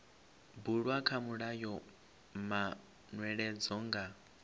bulwa kha mulayo manweledzo nga